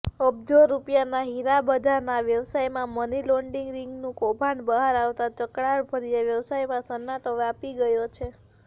અબજો રૂપિયાના હીરાબજારના વ્યવસાયમાં મનીલોન્ડરિંગનું કૌભાંડ બહાર આવતાં ચળકાટભર્યા વ્યવસાયમાં સન્નાટો વ્યાપી ગયો છે